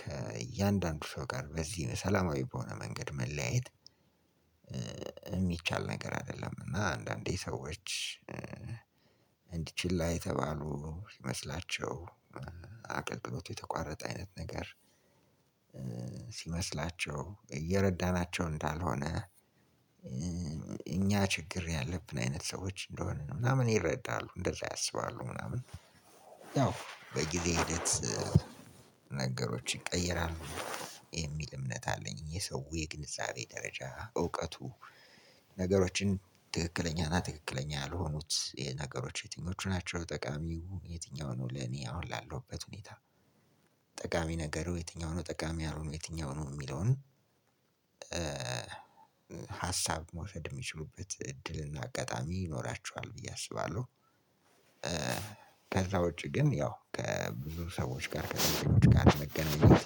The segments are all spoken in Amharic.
ከእያንዳንዱ ሰው ጋር በዚህ ሰላማዊ በሆነ መንገድ መለያየት የሚቻል ነገር አይደለም። እና አንዳንዴ ሰዎች እንዲ ችላ የተባሉ ይመስላቸዋል። አገልግሎቱ የተቋረጠ አይነት ነገር ሲመስላቸው እየረዳናቸው እንዳልሆነ እኛ ችግር ያለብን አይነት ሰዎች እንደሆንን ምናምን ይረዳሉ። እንደዛ ያስባሉ ምናምን ያው በጊዜ ሂደት ነገሮችን ይቀይራል የሚል እምነት አለኝ። የሰው የግንዛቤ ደረጃ እውቀቱ ነገሮችን ትክክለኛና ትክክለኛ ያልሆኑት ነገሮች የትኞቹ ናቸው ጠቃሚው የትኛው ነው? ለኔ አሁን ላለሁበት ሁኔታ ጠቃሚ ነገሩ የትኛው ነው፣ ጠቃሚ ያልሆኑ የትኛው ነው የሚለውን ሀሳብ መውሰድ የሚችሉበት እድልና አጋጣሚ ይኖራቸዋል ብዬ አስባለው። ከዛ ውጪ ግን ያው ከብዙ ሰዎች ጋር ከብዙ ሰዎች ጋር መገናኘት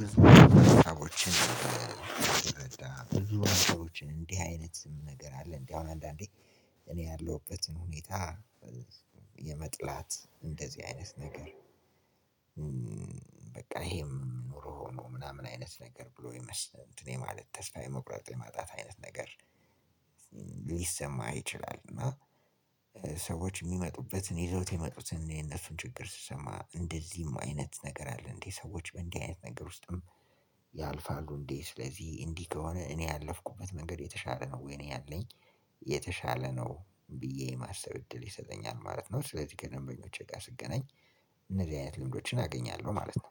ብዙ ሰዎችን ብዙ ሰዎችን እንዲህ አይነት ነገር አለ እንዴ? አሁን እንዳንዴ እኔ ያለሁበትን ሁኔታ የመጥላት እንደዚህ አይነት ነገር በቃ ይሄም ኑሮ ሆኖ ምናምን አይነት ነገር ብሎ ይመስል እንትን የማለት ተስፋ የመቁረጥ የማጣት አይነት ነገር ሊሰማ ይችላል። እና ሰዎች የሚመጡበትን ይዘውት የሚመጡትን የነሱን ችግር ስሰማ እንደዚህም አይነት ነገር አለ እንዴ፤ ሰዎች በእንዲህ አይነት ነገር ውስጥም ያልፋሉ እንዴ? ስለዚህ እንዲህ ከሆነ እኔ ያለፍኩበት መንገድ የተሻለ ነው ወይንም እኔ ያለሁበት መንገድ የተሻለ ነው ብዬ የማሰብ እድል ይሰጠኛል ማለት ነው። ስለዚህ ከደንበኞቼ ጋር ስገናኝ እንደዚህ አይነት ልምዶችን አገኛለው ማለት ነው።